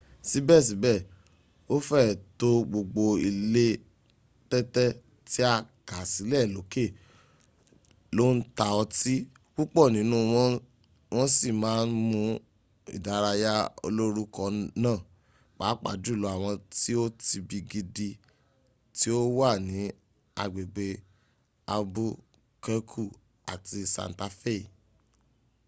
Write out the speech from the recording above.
síbèsíbè o féè to gbogbo ilé tẹ́tẹ́ ti a kà sílè lókè lo n ta ọtí púpọ̀ nínú wọn wọn si ma n mú ìdárayá olórúkọ na pàápàá jùlọ àwọn ti o tibi gidi ti o wa ní agbẹ̀gbẹ̀ albuquerque àti santa fei